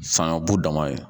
Fanga bu dama ye